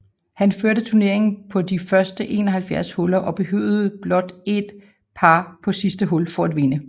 Han førte turneringen på de første 71 huller og behøvede blot en par på sidste hul for at vinde